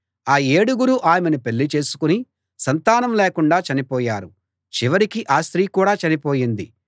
ఆ ఏడుగురూ ఆమెను పెళ్ళిచేసుకుని సంతానం లేకుండా చనిపోయారు చివరికి ఆ స్త్రీ కూడా చనిపోయింది